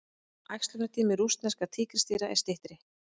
Æxlunartími rússneskra tígrisdýra er styttri.